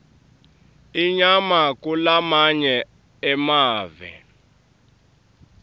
inyama kulamanye emave